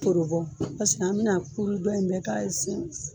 Torobɔn Paseke an be na kuru dɔ in bɛɛ k'a ye sɛnsi